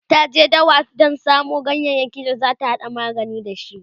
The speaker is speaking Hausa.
ta je dawa Dan samu ganyayaki da zata hada magani da shi